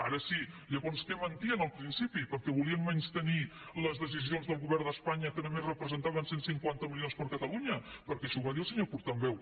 ara sí llavors què mentien al principi perquè volien menystenir les decisions del govern d’espanya que només representaven cent i cinquanta milions per a catalunya perquè això ho va dir el senyor portaveu